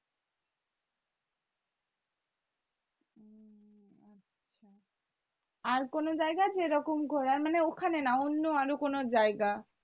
আর কোনো জায়গা আছে যেরকম ঘোরার মানে ওখানে না অন্য আরও কোনো জায়গা?